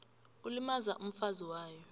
ilimaza umfazi wayo